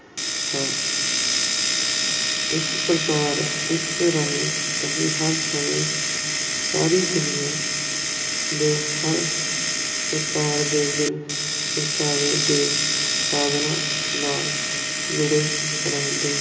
ਇਸ ਪ੍ਰਕਾਰ ਇਸ ਰਾਹੀਂ ਅਸੀਂ ਹਰ ਸਮੇਂ ਸਾਰੀ ਦੁਨੀਆ ਦੇ ਹਰ ਪ੍ਰਕਾਰ ਦੇ ਦਿਲ-ਪਰਚਾਵੇ ਦੇ ਸਾਧਨਾਂ ਨਾਲ ਜੁੜੇ ਰਹਿੰਦੇ।